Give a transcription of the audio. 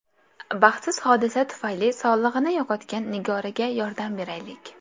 Baxtsiz hodisa tufayli sog‘lig‘ini yo‘qotgan Nigoraga yordam beraylik!.